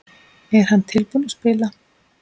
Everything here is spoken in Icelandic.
Er hann tilbúinn að spila?